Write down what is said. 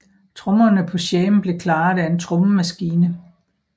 Trommerne på Shame blev klaret af en trommemaskine